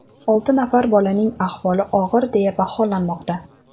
Olti nafar bolaning ahvoli og‘ir deya baholanmoqda.